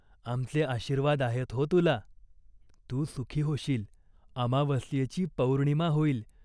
आमचे आशीर्वाद आहेत हो तुला. तू सुखी होशील, अमावास्येची पौर्णिमा होईल.